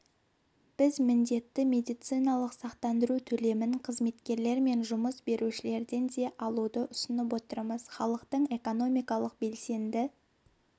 біз міндетті медициналық сақтандыру төлемін қызметкерлер мен жұмыс берушілерден де алуды ұсынып отырмыз халықтың экономикалық белсенді